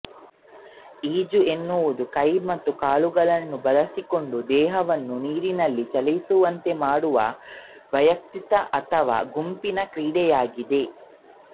ಈಜು ಎನ್ನುವುದು ಕೈ ಮತ್ತು ಕಾಲುಗಳನ್ನು ಬಳಸಿಕೊಂಡು ದೇಹವನ್ನು ನೀರಿನಲ್ಲಿ ಚಲಿಸುವಂತೆ ಮಾಡುವ ವಯಕ್ತಿಕ ಅಥವಾ ಗುಂಪಿನ ಕ್ರೀಡೆಯಾಗಿದೆ